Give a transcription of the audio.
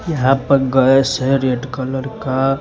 यहां पर गैस है रेड कलर का।